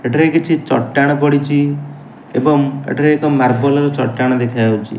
ଏଠାରେ କିଛି ଚଟାଣ ପଡ଼ିଚି ଏବଂ ଏଠାରେ ଏକ ମାର୍ବଲ୍ ର ଚଟାଣ ଦେଖାଯାଉଚି।